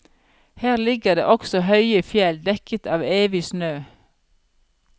Her ligger det også høye fjell, dekket av evig snø.